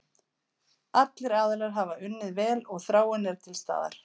Allir aðilar hafa unnið vel og þráin er til staðar.